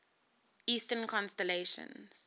eastern constellations